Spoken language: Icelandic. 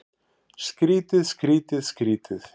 Skrýtið, skrýtið, skrýtið.